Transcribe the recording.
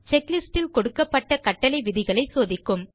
குழு checklistல் கொடுக்கப்பட்ட கட்டளை விதிகளைச்சோதிக்கும்